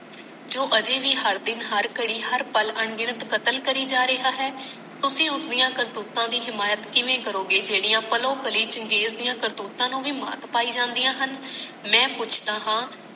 ਜੋ ਹਜੇ ਭੀ ਹਰ ਘੜੀ ਹਰ ਪਲ ਅਣਗਿਣਤ ਕਤਲ ਕਰਿ ਜਾ ਰਿਹਾ ਹੈ ਤੁਸੀ ਉਸਦੀਆਂ ਕਰਤੂਤਾਂ ਦੀ ਸ਼ਮਾਯਤ ਕਿਵੇਂ ਕਰੋਗੇ ਜੇਡੀ ਪਲੋ ਪਲੀ ਚੰਗੇਜ ਦੀਆਂ ਕਰਤੂਤਾਂ ਨੂੰ ਭੀ ਮਾਤ ਪਾਈ ਜਾਂਦੀਆਂ ਹਨ ਮੈਂ ਪੁੱਛਦਾ ਹਾਂ